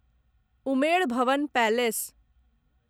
Umaid Bhawan palace